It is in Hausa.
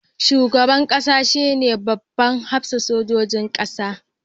Shugaban kasa shine babban hafsan sojojin kasa.